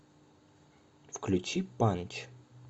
включи панч